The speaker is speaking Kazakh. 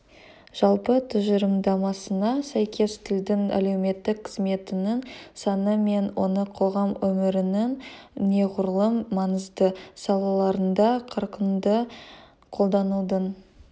жалпы тұжырымдамасына сәйкес тілдің әлеуметтік қызметінің саны мен оны қоғам өмірінің неғұрлым маңызды салаларында қарқынды қолданудың